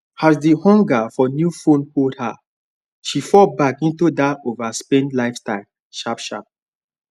as the hunger for new phone hold her she fall back into that overspend lifestyle sharpsharp